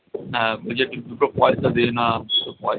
হ্যাঁ ঐযে দুটো পয়সা দে না, দুটো পয়সা